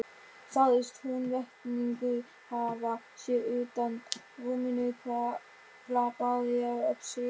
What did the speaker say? Sagðist Húnvetningur hafa séð undan rúminu hvar glampaði á öxi.